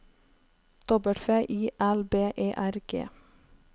W I L B E R G